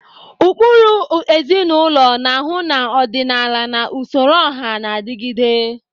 Ukpuru ezinụlọ na-ahu na ọdịnala na usoro ọha na adịgide.